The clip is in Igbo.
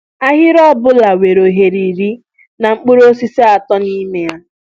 Ahịrị ọbula nwere oghere irí na mkpụrụ osisi atọ nime ya